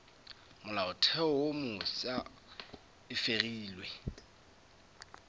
molaotheo wo mofsa e fegilwe